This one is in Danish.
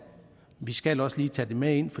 vi skal også lige tage det med ind